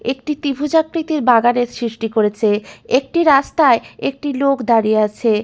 একটি ত্রিভুজ আকৃতির বাগানের সৃষ্টি করেছে একটি রাস্তায় একটি লোক দাঁড়িয়ে আছে।